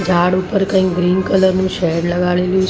ઝાડ ઉપર કઈ ગ્રીન કલર નું શેડ લગાડેલું છે.